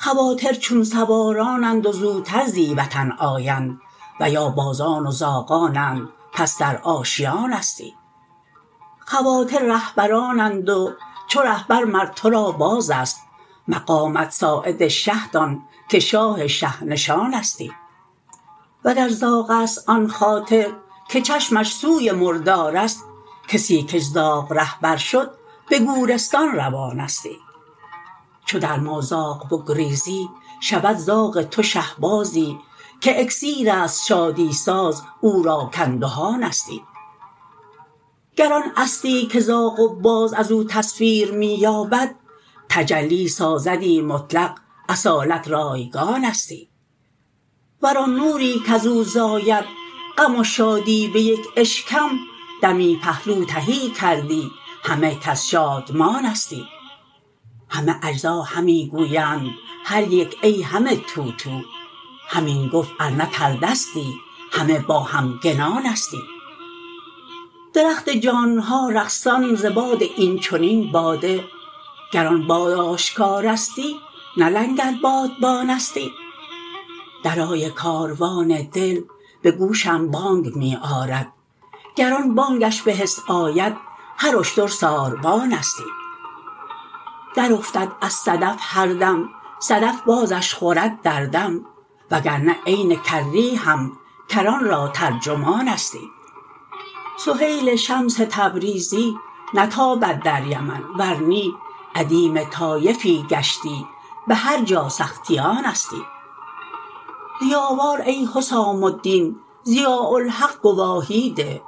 خواطر چون سوارانند و زوتر زی وطن آیند و یا بازان و زاغانند پس در آشیانستی خواطر رهبرانند و چو رهبر مر تو را بار است مقامت ساعد شه دان که شاه شه نشانستی وگر زاغ است آن خاطر که چشمش سوی مردار است کسی کش زاغ رهبر شد به گورستان روانستی چو در مازاغ بگریزی شود زاغ تو شهبازی که اکسیر است شادی ساز او را کاندهانستی گر آن اصلی که زاغ و باز از او تصویر می یابد تجلی سازدی مطلق اصالت را یگانستی ور آن نوری کز او زاید غم و شادی به یک اشکم دمی پهلو تهی کردی همه کس شادمانستی همه اجزا همی گویند هر یک ای همه تو تو همین گفت ار نه پرده ستی همه با همگنانستی درخت جان ها رقصان ز باد این چنین باده گران باد آشکارستی نه لنگر بادبانستی درای کاروان دل به گوشم بانگ می آرد گر آن بانگش به حس آید هر اشتر ساربانستی درافتد از صدف هر دم صدف بازش خورد در دم وگر نه عین کری هم کران را ترجمانستی سهیل شمس تبریزی نتابد در یمن ور نی ادیم طایفی گشتی به هر جا سختیانستی ضیاوار ای حسام الدین ضیاء الحق گواهی ده